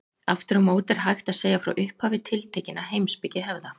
Aftur á móti er hægt að segja frá upphafi tiltekinna heimspekihefða.